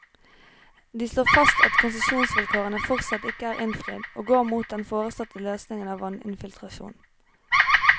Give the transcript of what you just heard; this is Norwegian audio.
De slår fast at konsesjonsvilkårene fortsatt ikke er innfridd, og går mot den foreslåtte løsningen om vanninfiltrasjon.